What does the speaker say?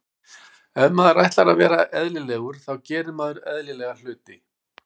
Ef maður ætlar að vera eðlilegur þá gerir maður eðlilega hluti.